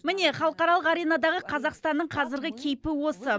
міне халықаралық аренадағы қазақстанның қазіргі кейпі осы